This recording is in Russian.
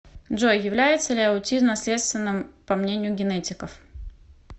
джой является ли аутизм наследственным по мнению генетиков